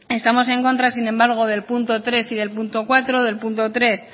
estamos en contra sin embargo del punto tres y el punto cuatro del punto tres